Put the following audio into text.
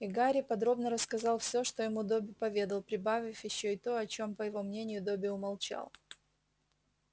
и гарри подробно рассказал все что ему добби поведал прибавив ещё и то о чем по его мнению добби умолчал